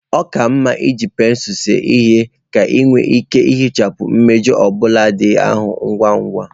Ọ ka mma iji pensụl see ihe ka ị nwee ike ihichapụ mmejọ obula ndị ahụ ngwa ngwa